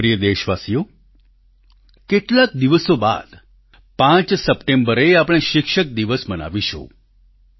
મારા પ્રિય દેશવાસીઓ કેટલાક દિવસો બાદ પાંચ સપ્ટેમ્બરે આપણે શિક્ષક દિવસ મનાવીશું